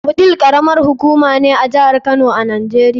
Wudil karamar hukuma ce a jihar Kano a Najeriya.